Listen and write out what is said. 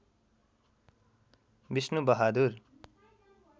Vishnu Bahadur